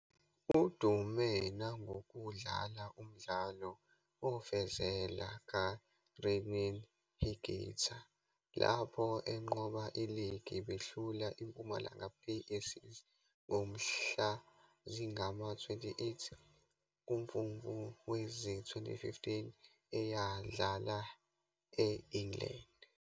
Udume nangokudlala umdlalo wofezela kaRené Higuita lapho enqoba iligi behlula iMpumalanga Black Aces ngomhla zingama-28 kuMfumfu wezi-2015, eyadlala e-England.